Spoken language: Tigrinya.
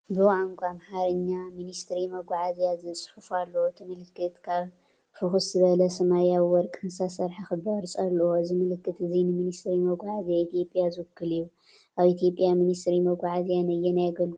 ብቋንቋ ኣምሓርኛ “ሚኒስትሪ መጓዓዝያ” ዝብል ጽሑፍ ኣሎ። እቲ ምልክት ካብ ፍኹስ ዝበለ ሰማያውን ወርቅን ዝተሰርሐ ክቢ ቅርጺ ኣለዎ። እዚ ምልክት እዚ ንሚኒስትሪ መጓዓዝያ ኢትዮጵያ ዝውክል እዩ። ኣብ ኢትዮጵያ ሚኒስትሪ መጓዓዝያ ነየናይ ኣገልግሎት መጓዓዝያ የጠቓልል?